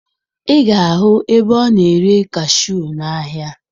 Ị ga-ahụ ebe ọ na-ere kashuu n'ahịa